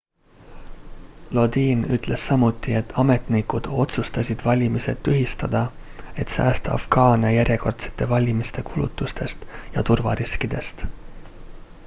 lodin ütles samuti et ametnikud otsustasid valimised tühistada et säästa afgaane järjekordsete valimiste kulutustest ja turvariskidest